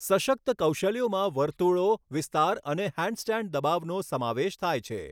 સશક્ત કૌશલ્યોમાં વર્તુળો, વિસ્તાર અને હેન્ડસ્ટેન્ડ દબાવનો સમાવેશ થાય છે.